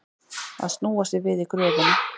Að snúa sér við í gröfinni